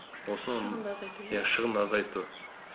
шығынды азайту